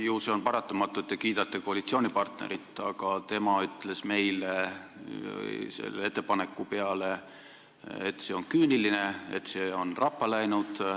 Ju see on paratamatu, et te kiidate koalitsioonipartnerit, kes ütles meile selle ettepaneku peale, et see on küüniline, see on rappa läinud.